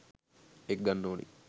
එක ගන්න ඕනි.